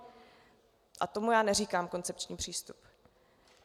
A tomu já neříkám koncepční přístup.